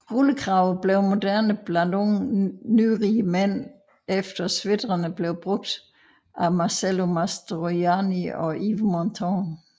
Rullekraver blev mode blandt unge nyrige mænd efter sweatrene blev brugt af Marcello Mastroianni og Yves Montand